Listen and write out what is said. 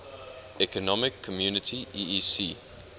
economic community eec